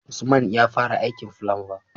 Usman yafara aikin fulamba